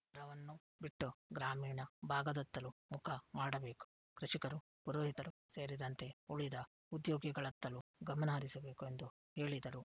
ನಗರವನ್ನು ಬಿಟ್ಟು ಗ್ರಾಮೀಣ ಭಾಗದತ್ತಲೂ ಮುಖ ಮಾಡಬೇಕು ಕೃಷಿಕರು ಪುರೋಹಿತರು ಸೇರಿದಂತೆ ಉಳಿದ ಉದ್ಯೋಗಿಗಳತ್ತಲೂ ಗಮನಹರಿಸಬೇಕು ಎಂದು ಹೇಳಿದರು